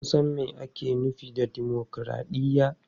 Kun san me ake nufi da dimokuraɗiyya?